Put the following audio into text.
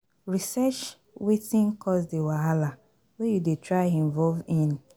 Research wetin cause di wahala wey you dey try involve in